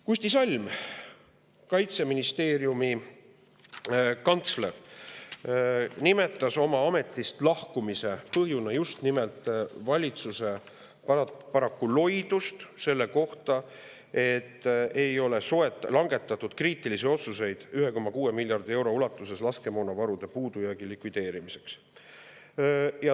Kusti Salm, Kaitseministeeriumi kantsler, nimetas oma ametist lahkumise põhjusena paraku just nimelt valitsuse loidust, sest ei ole langetatud kriitilisi otsuseid 1,6 miljardi euro ulatuses laskemoonavaru puudujäägi likvideerimiseks.